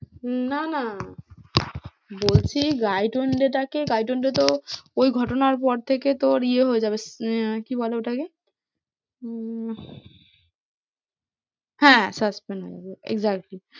না না বলছি ওই ঘটনার পর থেকে তোর ইয়ে হয়ে যাবে আহ কি বলে ওটাকে? হম হ্যাঁ suspend হয়ে যাবে exactly